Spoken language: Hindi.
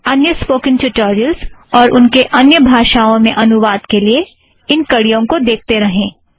अन्य स्पोकन ट्यूटोरियलस और उनके अन्य भाषाओं में अनुवाद के लिए इन कड़ियों को देखते रहें